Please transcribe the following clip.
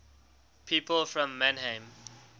people from mannheim